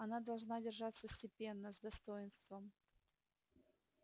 она должна держаться степенно с достоинством